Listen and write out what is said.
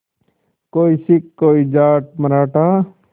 कोई सिख कोई जाट मराठा